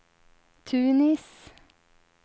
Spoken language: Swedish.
Tunis